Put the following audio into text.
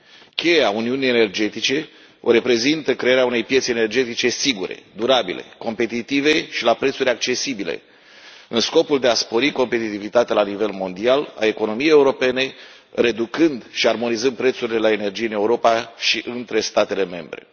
Cheia Uniunii energetice o reprezintă crearea unei piețe energetice sigure, durabile, competitive și la prețuri accesibile, în scopul de a spori competitivitatea la nivel mondial a economiei europene, reducând și armonizând prețurile la energie în Europa și între statele membre.